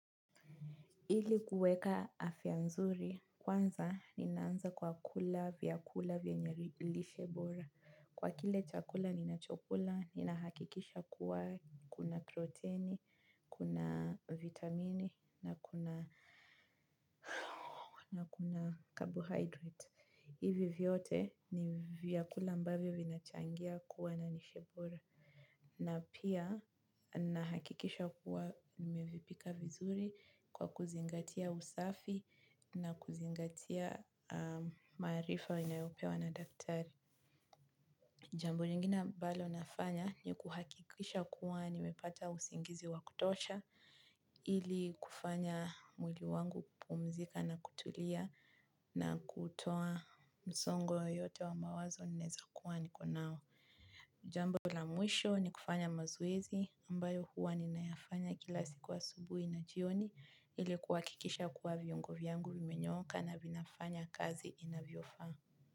Ili kuweka afya nzuri, kwanza ninaanza kwa kula, vyakula, vyenye lishe bora. Kwa kile chakula, ninachokula, nina hakikisha kuwa kuna proteini, kuna vitamine, na kuna carbohydrate. Hivi vyote ni vyakula ambavyo vinachangia kuwa na lishe bora. Na pia ninahakikisha kuwa nimevipika vizuri kwa kuzingatia usafi na kuzingatia maarifa ninayopewa na daktari. Jambo lingine ambalo nafanya ni kuhakikisha kuwa nimepata usingizi wa kutosha ili kufanya mwili wangu kupumzika na kutulia na kutoa msongo yote wa mawazo naweza kuwa niko nao. Jambo la mwisho ni kufanya mazoezi ambayo huwa ninayafanya kila siku asubuhi na jioni ili kuhakikisha kuwa viungo vyangu vimenyooka na vinafanya kazi inavyo faa.